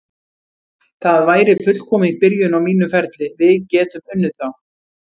Það væri fullkomin byrjun á mínum ferli, við getum unnið þá.